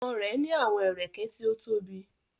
Ọmọ rẹ ni awọn ẹrẹkẹ ti o tobi